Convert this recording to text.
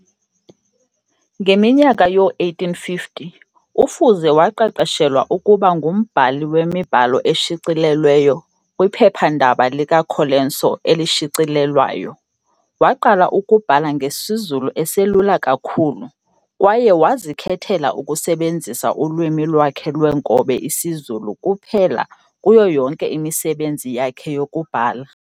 Ngeminyaka yoo-1850, uFuze waqeqeshelwa ukuba ngumbhali wemibhalo eshicilelweyo kwiphepha-ndaba likaColenso elishicilelwayo. Waqala ukubhala ngesiZulu eselula kakhulu, kwaye wazikhethela ukusebenzisa ulwimi lwakhe lweenkobe isiZulu kuphela kuyo yonke imisebenzi yakhe yokubhala.